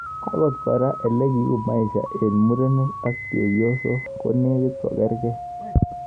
Akot koraa ,olekiuu maisha eng murenik ak chephosok konekit kogerkei